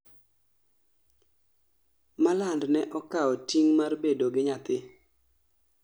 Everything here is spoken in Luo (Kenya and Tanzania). Malland ne okao ting' mar bedo gi nyathi